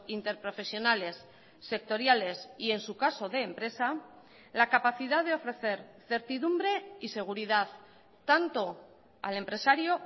interprofesionales sectoriales y en su caso de empresa la capacidad de ofrecer certidumbre y seguridad tanto al empresario